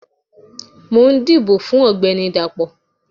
mò n dibò fun ọgbẹni Dapó